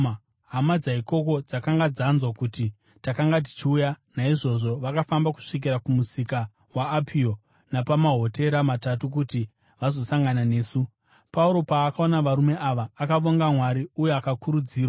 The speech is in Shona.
Hama dzaikoko dzakanga dzanzwa kuti takanga tichiuya, naizvozvo vakafamba kusvikira kuMusika weApio napaMahotera Matatu kuti vazosangana nesu. Pauro, paakaona varume ava, akavonga Mwari uye akakurudzirwa.